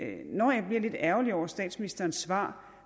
når jeg bliver lidt ærgerlig over statsministerens svar